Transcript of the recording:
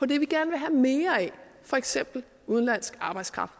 det vi gerne vil have mere af for eksempel udenlandsk arbejdskraft